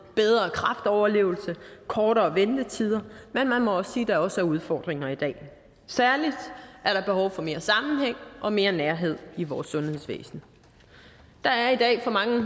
bedre kræftoverlevelse kortere ventetider men man må sige at der også er udfordringer i dag særlig er der behov for mere sammenhæng og mere nærhed i vores sundhedsvæsen der er i dag for mange